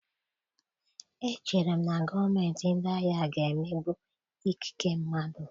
Echere m na gọọmentị ndị agha ga-emegbu ikike mmadụ.